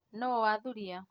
Nũũ wathurìa